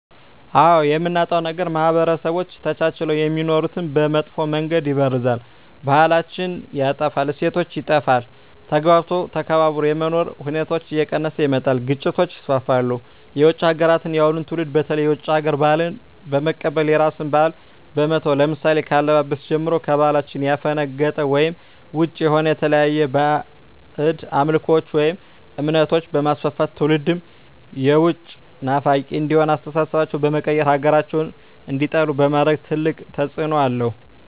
አዎ የምናጣዉ ነገር ማህበረሰቦች ተቻችለዉ የሚኖሩትን በመጥፋ መንገድ ይበርዛል ባህላችን ይጠፋል እሴቶች ይጠፋል ተግባብቶ ተከባብሮ የመኖር ሁኔታዎች እየቀነሰ ይመጣል ግጭቶች ይስፍፍሉ የዉጭ ሀገራትን የአሁኑ ትዉልድ በተለይ የዉጭ ሀገር ባህልን በመቀበል የራስን ባህል በመተዉ ለምሳሌ ከአለባበስጀምሮ ከባህላችን ያፈነቀጠ ወይም ዉጭ የሆነ የተለያዩ ባእጅ አምልኮችን ወይም እምነቶችንበማስፍፍት ትዉልዱም የዉጭ ናፋቂ እንዲሆን አስተሳሰባቸዉ በመቀየር ሀገራቸዉን እንዲጠሉ በማድረግ ትልቅ ተፅዕኖ አለዉ